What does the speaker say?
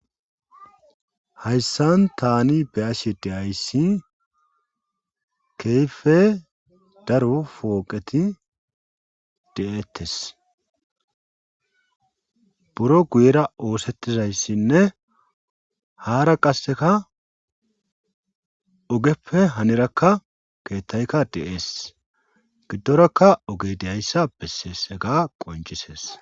hayssan tani beyashi dehayssi keyfe daro fooqeti de7ettes buro guyera oosettizayssinne haara qasseka ogeppe hanirakka keettayka de7ees giddorakka oge deyayssa besseese ga qoncisees